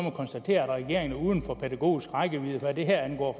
konstatere at regeringen er uden for pædagogisk rækkevidde hvad det her angår